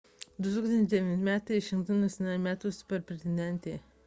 2009 m ji išrinkta nacionaline metų superintendente